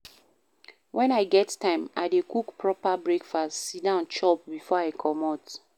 Wen I get time, I dey cook proper breakfast, sit down chop before I comot.